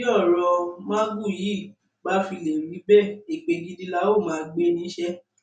bí ọrọ magu yìí bá fi lè rí bẹẹ èpè gidi la óò máa gbé yín ṣe